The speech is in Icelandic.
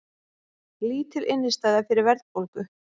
Lítil innistæða fyrir verðbólgu